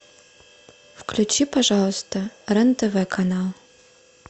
включи пожалуйста рен тв канал